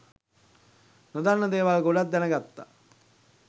නොදන්න දේවල් ගොඩක් දැනගත්තා